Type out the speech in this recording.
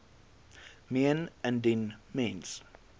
meen indien mens